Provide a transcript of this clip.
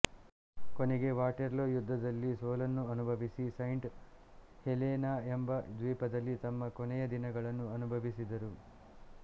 ಕೊನೆಗೆ ವಾಟೆರ್ಲೂ ಯುದ್ಧದಲ್ಲಿ ಸೋಲನ್ನು ಅನುಭವಿಸಿ ಸೈಂಟ್ ಹೆಲೆನಎಂಬ ದ್ವೀಪದಲ್ಲಿ ತಮ್ಮ ಕೊನೆಯ ದಿನಗಳನ್ನು ಅನುಭವಿಸಿದರು